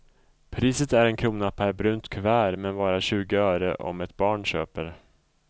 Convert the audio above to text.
Priset är en krona per brunt kuvert, men bara tjugo öre om ett barn köper.